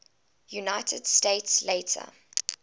united states later